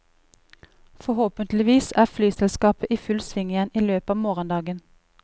Forhåpentlig er flyselskapet i full sving igjen i løpet av morgendagen.